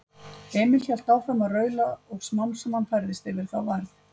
Er ekki verið að reyna að reyna að auka fjölda áhorfenda?